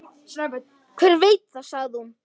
Hver veit sagði hún.